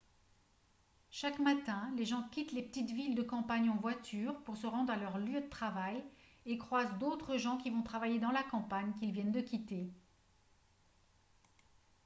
chaque matin les gens quittent les petites villes de campagne en voiture pour se rendre à leur lieu de travail et croisent d'autres gens qui vont travailler dans la campagne qu'ils viennent de quitter